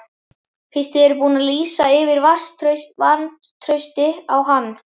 Fyrst þið eruð búin að lýsa yfir vantrausti á hann?